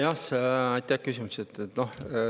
Aitäh küsimuse eest!